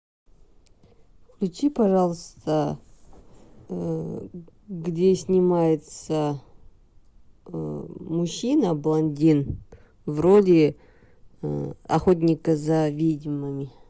включи пожалуйста где снимается мужчина блондин в роли охотника за ведьмами